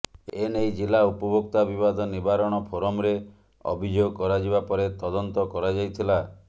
ଏ ନେଇ ଜିଲ୍ଲା ଉପଭୋକ୍ତା ବିବାଦ ନିବାରଣ ଫୋରମରେ ଅଭିଯୋଗ କରାଯିବା ପରେ ତଦନ୍ତ କରାଯାଇଥିଲା